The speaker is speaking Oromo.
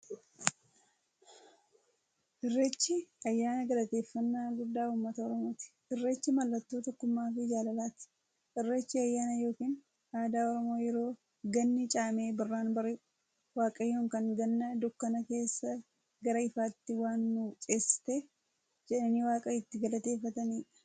Irreechi ayyaana galateeffnnaa guddaa ummata oromooti. Irreechi mallattoo tokkummaafi jaalalaati. Irreechi ayyaana yookiin aadaa Oromoo yeroo ganni caamee birraan bari'u, Waaqayyoon kan Ganna dukkana keessaa gara ifaatti waan nu ceesifteef jedhanii waaqa itti galateeffataniidha.